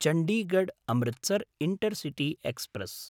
Chandigarh Amritsar intercity express